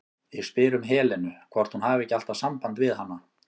Ég spyr um Helenu, hvort hún hafi ekki alltaf samband við hana?